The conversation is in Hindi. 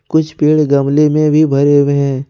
कुछ पेड़ गमले में भी भरे हुए हैं।